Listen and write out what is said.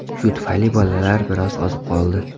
Shu tufayli bolalar biroz ozib qoldi.